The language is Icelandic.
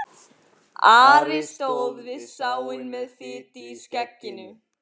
Ari stóð við sáinn með fitu í skegginu.